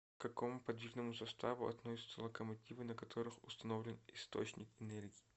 к какому подвижному составу относятся локомотивы на которых установлен источник энергии